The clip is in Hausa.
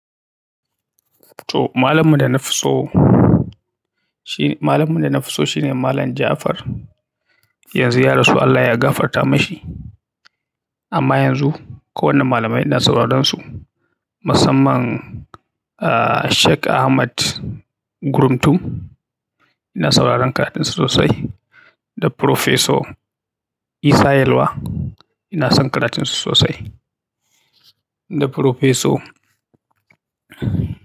To malamin da nafi so, m malamin danafi so shine Malam Ja'afar. Yanzu ya rasu, Allah ya gafarta mashi. Amma yanzu kowanne malamai ina sauraron su, musamman, ah, Sheik Ahmed Guruntum. Ina sauraron karatunsa sosai da Furofesa Isah Yelwa. Ina son karatunsu sosai da Furofeso.